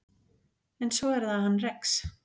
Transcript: En svo er það hann Rex.